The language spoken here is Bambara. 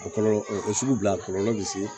O kɔlɔlɔ o sugu bila a kɔlɔlɔ bi se